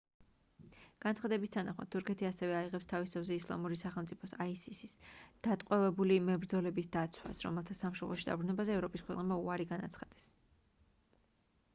განცხადების თანახმად თურქეთი ასევე აიღებს თავის თავზე ისლამური სახელმწიფოს isis დატყვევებული მებრძოლების დაცვას რომელთა სამშობლოში დაბრუნებაზე ევროპის ქვეყნებმა უარი განაცხადეს